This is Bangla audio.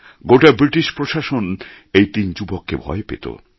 গোটা ব্রিটিশ প্রশাসন এই তিন যুবককে ভয় পেত